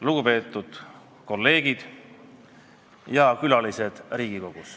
Lugupeetud kolleegid ja Riigikogu külalised!